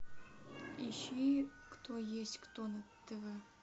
ищи кто есть кто на тв